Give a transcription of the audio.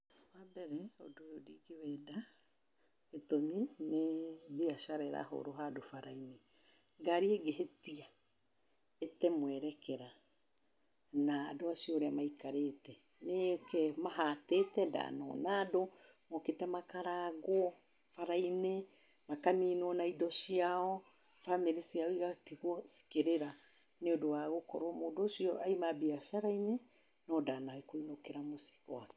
Wambere, ũndũ ũyũ ndingĩwenda, gĩtũmi nĩ mbiacara ĩrahũrwo handũ bara-inĩ. Ngari ĩngĩhĩtia ĩte mwerekera, na andũ acio ũrĩa maikarĩte, nĩyũke ĩmahatĩte ndanona andũ mokĩte makarangwo bara-inĩ, makaninwo na indo ciao, famĩrĩ ciao igatigwo cikĩrĩra nĩũndũ wa gũkorwo mũndũ ũcio aima mbiacara-inĩ, nondanakũinũkĩra mũciĩ gwake.